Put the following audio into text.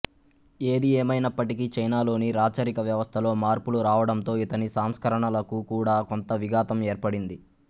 ఏది ఏమైనప్పటికీ చైనాలోని రాచరిక వ్యవస్థలో మార్పులు రావడంతో ఇతని సంస్కరణలకు కూడా కొంత విఘాతం ఏర్పడింది